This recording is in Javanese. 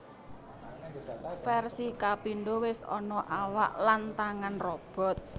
Versi kapindo wis ana awak lan tangan robot